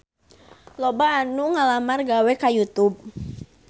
Loba anu ngalamar gawe ka Youtube